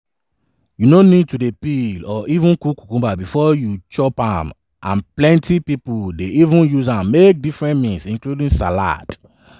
you no need to peel or even cook cucumber bifor you chop am and plenti pipo dey even use am make different meals including salad.